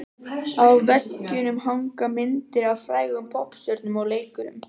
Á veggjunum hanga myndir af frægum poppstjörnum og leikurum.